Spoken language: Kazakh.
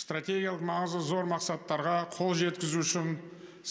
стратегиялық маңызы зор мақсаттарға қол жеткізу үшін